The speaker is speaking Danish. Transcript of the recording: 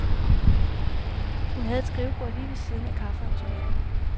Hun havde et skrivebord lige ved siden af kaffeautomaten.